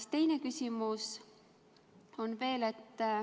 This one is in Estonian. Aga teine küsimus on veel.